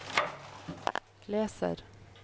leser